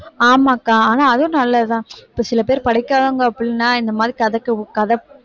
ஆமாக்கா ஆனா அதுவும் நல்லதுதான் இப்ப சில பேர் படிக்காதவங்க அப்படின்னா இந்த மாதிரிக் கதைக்கு கதை